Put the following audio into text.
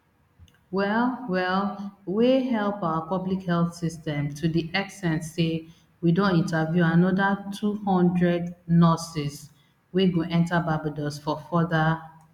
well well wey help our public health system to di ex ten t say we don interview anoda two hundred nurses wey go enta barbados for further